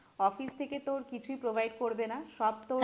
Office থেকে তোর কিছুই provide করবে না সব তোর